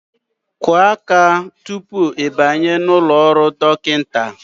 Kụọ aka tupu ị banye n'ụlọ ọrụ dọkịta!